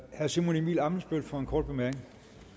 herre simon emil ammitzbøll for en kort bemærkning